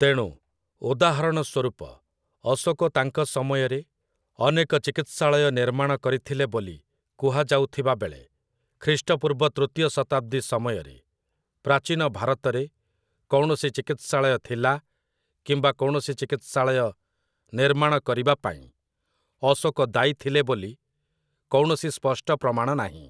ତେଣୁ, ଉଦାହରଣ ସ୍ୱରୂପ, ଅଶୋକ ତାଙ୍କ ସମୟରେ ଅନେକ ଚିକିତ୍ସାଳୟ ନିର୍ମାଣ କରିଥିଲେ ବୋଲି କୁହାଯାଉଥିବା ବେଳେ, ଖ୍ରୀଷ୍ଟପୂର୍ବ ତୃତୀୟ ଶତାବ୍ଦୀ ସମୟରେ ପ୍ରାଚୀନ ଭାରତରେ କୌଣସି ଚିକିତ୍ସାଳୟ ଥିଲା କିମ୍ବା କୌଣସି ଚିକିତ୍ସାଳୟ ନିର୍ମାଣ କରିବା ପାଇଁ ଅଶୋକ ଦାୟୀ ଥିଲେ ବୋଲି କୌଣସି ସ୍ପଷ୍ଟ ପ୍ରମାଣ ନାହିଁ ।